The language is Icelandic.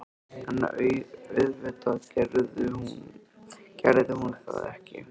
En auðvitað gerði hún það ekki.